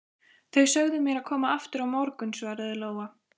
Þau sögðu mér að koma aftur á morgun, svaraði Lóa.